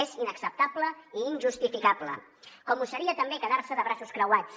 és inacceptable i injustificable com ho seria també quedarse de braços creuats